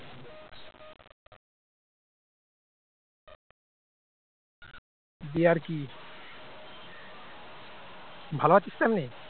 দিয়ে আর কি ভালো আছিস তো এমনি?